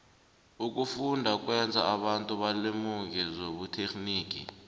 ukufunda kwenza abantu balemuke zobuterhnigi